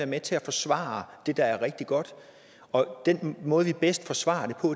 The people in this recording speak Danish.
med til at forsvare det der er rigtig godt og den måde vi bedst forsvarer